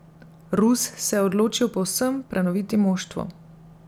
Rus se je odločil povsem prenoviti moštvo.